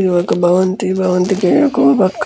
ఇదొక భవంతి భవంతి పక్క